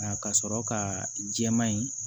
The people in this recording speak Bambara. Nka ka sɔrɔ ka jɛman in